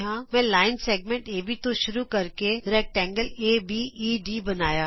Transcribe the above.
ਮੈਂ ਰੇਖਾ ਖੰਡ ਏਬੀ ਤੋਂ ਸ਼ੁਰੂ ਕਰਕੇ ਆਯਤ ਏਬੀਈਡੀ ਬਣਾਇਆ